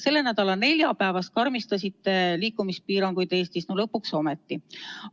Selle nädala neljapäevast karmistasite liikumispiiranguid Eestis – no lõpuks ometi!